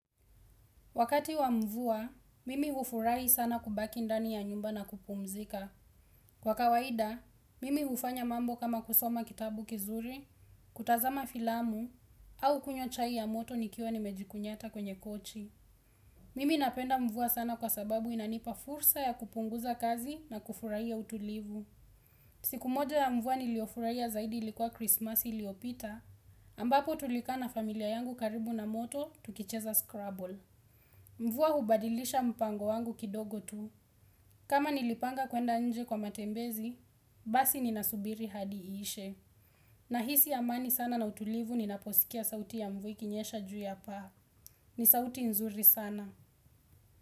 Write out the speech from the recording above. Wakati wa mvua, mimi ufurahi sana kubaki ndani ya nyumba na kupumzika. Kwa kawaida, mimi ufanya mambo kama kusoma kitabu kizuri, kutazama filamu, au kunywa chai ya moto nikiwa nimejikunyata kwenye kochi. Mimi napenda mvua sana kwa sababu inanipa fursa ya kupunguza kazi na kufurahia utulivu. Siku moja ya mvua niliofurahia zaidi ilikuwa Christmas iliopita, ambapo tulikaa na familia yangu karibu na moto tukicheza Scrabble. Mvua hubadilisha mpango wangu kidogo tu. Kama nilipanga kwenda nje kwa matembezi basi ninasubiri hadi iishe. Nahisi amani sana na utulivu ninaposikia sauti ya mvua ikinyesha juu ya paa. Ni sauti nzuri sana.